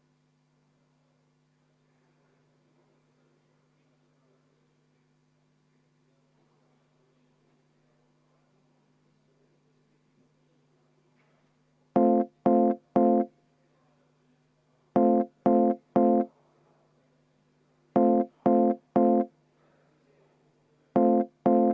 Ossinovski, Jevgeni!